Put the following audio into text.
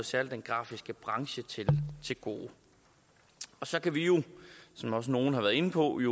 særlig den grafiske branche til gode så kan vi jo som også nogle har været inde på i